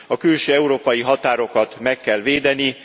A külső európai határokat meg kell védeni.